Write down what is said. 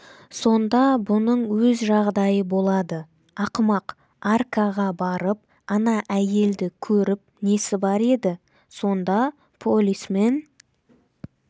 сонда бұның өз жағдайы болады ақымақ аркаға барып ана әйелді көріп несі бар еді сонда полисмен